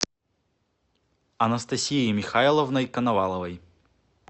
анастасией михайловной коноваловой